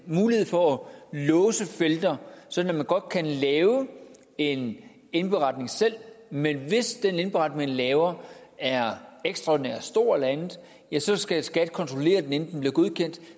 mulighed for at låse felter sådan at man godt kan lave en indberetning selv men hvis den indberetning man laver er ekstraordinært stor eller andet ja så skal skat kontrollere den inden den bliver godkendt